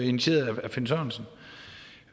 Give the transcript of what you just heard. initieret